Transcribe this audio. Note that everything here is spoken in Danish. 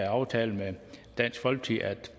aftale med dansk folkeparti at